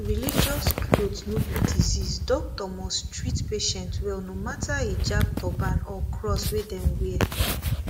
religious cloth no be disease doctor must treat patient well no matter hijab turban or cross wey dem wear